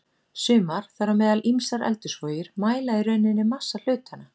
Sumar, þar á meðal ýmsar eldhúsvogir, mæla í rauninni massa hlutanna.